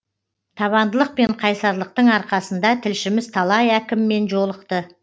табандылық пен қайсарлықтың арқасында тілшіміз талай әкіммен жолықты